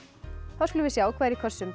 þá skulum við sjá hvað er í kössum